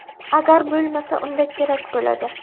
Agar bo‘lmasa unda kerak bo‘ladi.